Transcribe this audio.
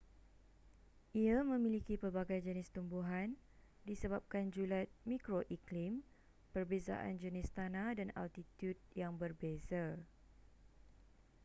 ia memiliki pelbagai jenis tumbuhan disebabkan julat mikroiklim perbezaan jenis tanah dan altitud yang berbeza